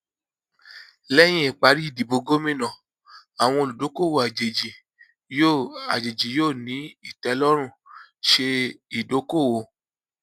lẹyìn ìparí ìdìbò gómìnà àwọn olùdókòwò àjèjì yóò àjèjì yóò ní ìtẹlọrùn ṣe idokoowo